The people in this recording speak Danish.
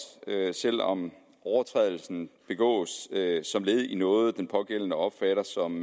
selv om overtrædelsen begås som led i noget den pågældende opfatter som